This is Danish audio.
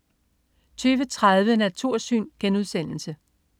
20.30 Natursyn*